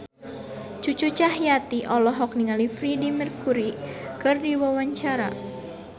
Cucu Cahyati olohok ningali Freedie Mercury keur diwawancara